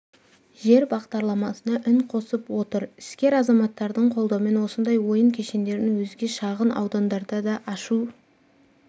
жер бағдарламасына үн қосып отыр іскер азаматтардың қолдауымен осындай ойын кешендерін өзге шағын аудандарда ашу